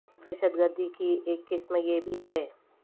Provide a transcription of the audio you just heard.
د ہشت گر دی کی ایک قسم یہ بھی ہے